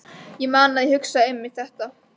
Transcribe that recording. Ég man að ég hugsaði einmitt þetta.